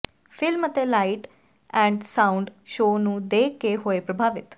film ਅਤੇ light and sound show ਨੂੰ ਦੇਖ ਕੇ ਹੋਏ ਪ੍ਰਭਾਵਿਤ